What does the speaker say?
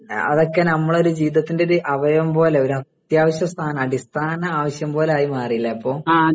അതൊക്കെ നമ്മടെ ഒരു ജീവിതത്തിന്റെ ഒരു അവയവം പോലെ ഒരത്യാവശ്യ സാധനം ഒരു അടിസ്ഥാന ആവശ്യം പോലെ ആയി മാറിയല്ലേ ഇപ്പൊ